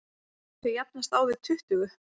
Þau jafnast á við tuttugu.